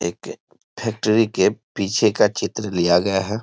एक फैक्ट्री के पीछे का चित्र लिया गया है।